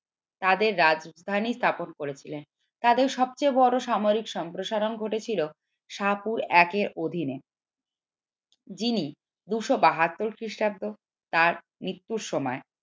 তাদের রাজধানী স্থাপন করেছিল তাদের সবচেয়ে বড় সামরিক সম্প্রসারণ ঘটেছিল একের অধীনে যিনি দুশো বাহাত্তর খ্রিস্টাব্দে তার মৃত্যুর সময়